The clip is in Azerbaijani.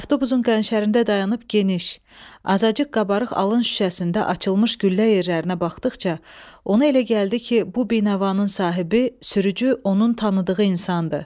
Avtobusun qənşərində dayanıb geniş, azacıq qabarıq alın şüşəsində açılmış güllə yerlərinə baxdıqca, ona elə gəldi ki, bu binəvanın sahibi, sürücü onun tanıdığı insandı.